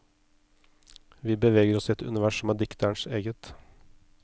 Vi beveger oss i et univers som er dikterens eget.